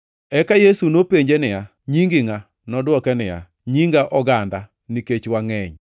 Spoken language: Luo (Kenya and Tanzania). Eka Yesu nopenje niya, “Nyingi ngʼa?” Nodwoke niya, “Nyinga Oganda, nikech wangʼeny.”